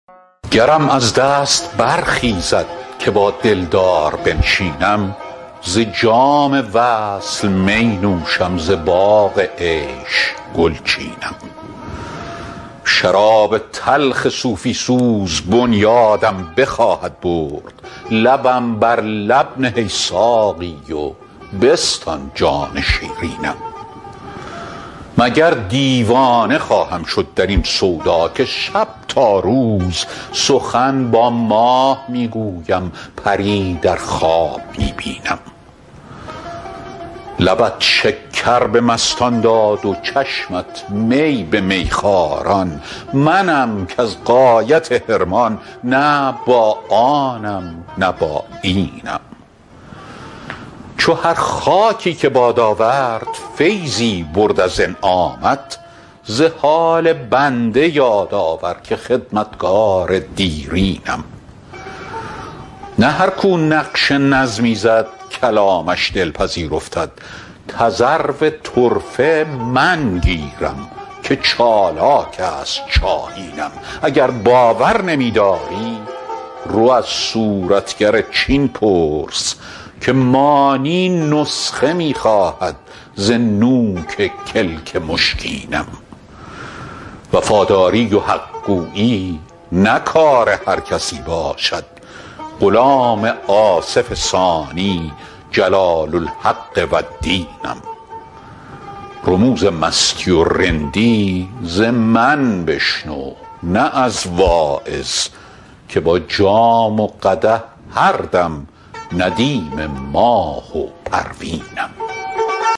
گرم از دست برخیزد که با دلدار بنشینم ز جام وصل می نوشم ز باغ عیش گل چینم شراب تلخ صوفی سوز بنیادم بخواهد برد لبم بر لب نه ای ساقی و بستان جان شیرینم مگر دیوانه خواهم شد در این سودا که شب تا روز سخن با ماه می گویم پری در خواب می بینم لبت شکر به مستان داد و چشمت می به میخواران منم کز غایت حرمان نه با آنم نه با اینم چو هر خاکی که باد آورد فیضی برد از انعامت ز حال بنده یاد آور که خدمتگار دیرینم نه هر کو نقش نظمی زد کلامش دلپذیر افتد تذرو طرفه من گیرم که چالاک است شاهینم اگر باور نمی داری رو از صورتگر چین پرس که مانی نسخه می خواهد ز نوک کلک مشکینم وفاداری و حق گویی نه کار هر کسی باشد غلام آصف ثانی جلال الحق و الدینم رموز مستی و رندی ز من بشنو نه از واعظ که با جام و قدح هر دم ندیم ماه و پروینم